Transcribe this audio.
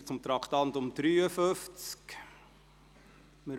Wir fahren weiter und kommen zum Traktandum 53.